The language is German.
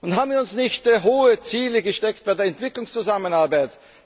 Haben wir uns nicht hohe Ziele gesteckt bei der Entwicklungszusammenarbeit?